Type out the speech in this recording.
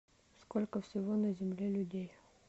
сколько всего на земле людей